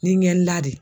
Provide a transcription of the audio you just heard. Ni ɲɛ la de